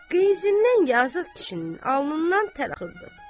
Qeyzindən yazığın kişinin alnından tərəxıldır.